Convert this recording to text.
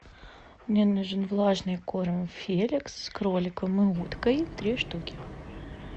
мне нужен влажный корм феликс с кроликом и уткой три штуки